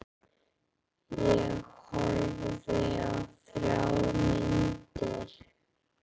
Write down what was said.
Ég horfði á þrjár myndir.